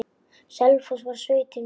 Selfoss varð sveitin mín.